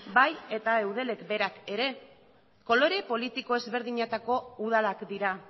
bai eta eudelek berak ere kolore politiko ezberdinetako udalak dira